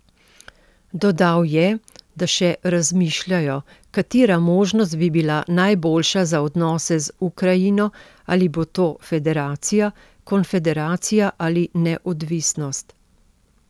Dodal je, da še razmišljajo, katera možnost bi bila najboljša za odnose z Ukrajino, ali bo to federacija, konfederacija ali neodvisnost.